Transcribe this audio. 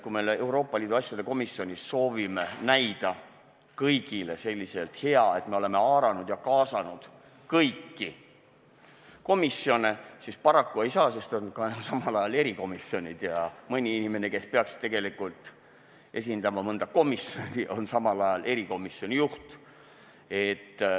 Kui me Euroopa Liidu asjade komisjonis soovime näida kõigile selliselt, et me oleme haaranud ja kaasanud kõiki komisjone, siis paraku seda ei saa, sest samal ajal on meil erikomisjonid ja mõni inimene, kes peaks tegelikult esindama mingit komisjoni, on samal ajal erikomisjoni juht.